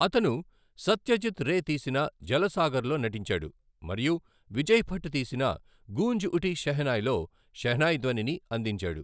అతను సత్యజిత్ రే తీసిన జలసాగర్లో నటించాడు మరియు విజయ్ భట్ తీసిన గూంజ్ ఉటీ షెహనాయ్లో షెహనాయ్ ధ్వనిని అందించాడు.